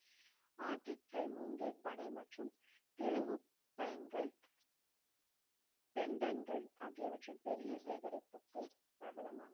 ஆர்கிக்கள் மூங்கில் பனை மற்றும் திருகு பயன்கள் பெண்டன்கள் ஆகியவற்றின் பெரிய சேகரிப்புக்கு பிரபலமான